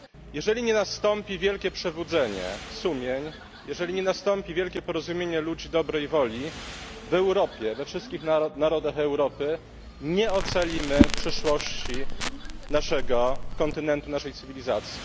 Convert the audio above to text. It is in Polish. Jeżeli nie nastąpi wielkie przebudzenie sumień, jeżeli nie nastąpi wielkie porozumienie ludzi dobrej woli w Europie, we wszystkich narodach Europy, nie ocalimy przyszłości naszego kontynentu, naszej cywilizacji.